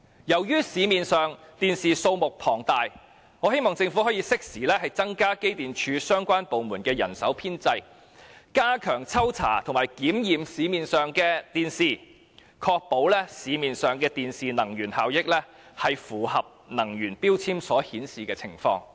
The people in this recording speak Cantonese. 由於市面上電視機的數目龐大，我希望政府可以適時增加機電署和相關部門的人手編制，加強抽查和檢驗市面上的電視機，確保市面上電視機的能源效益符合能源標籤所顯示的情況。